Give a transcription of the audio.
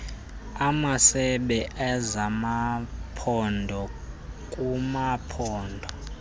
amasebe ezamamaphondo kumaphondo